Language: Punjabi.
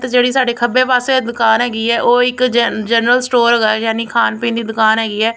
ਤੇ ਜਿਹੜੀ ਸਾਡੇ ਖੱਬੇ ਪਾਸੇ ਦੁਕਾਨ ਹੈਗੀ ਆ ਉਹ ਇੱਕ ਜਨ ਜਰਨਲ ਸਟੋਰ ਹੈਗਾ ਯਾਨੀ ਖਾਣ ਪੀਣ ਦੀ ਦੁਕਾਨ ਹੈਗੀ ਹੈ।